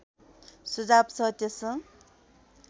सुझाव छ त्यस